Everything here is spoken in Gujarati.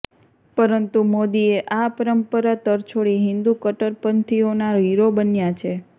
પરંતુ મોદીએ આ પરંપરા તરછોડી હિંદુ કટ્ટરપંથીઓના હીરો બન્યા છે